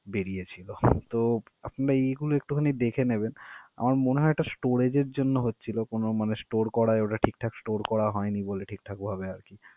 বেড়িয়েছিল। তো আপনারা এগুলো একটুখানি দেখে নেবেন। আমার মনে হয় এটা storage এর জন্য হচ্ছিল কোন মানে store করায় ওরা ঠিকঠাক store করা হয়নি বলে ঠিকঠাক ভাবে আর কি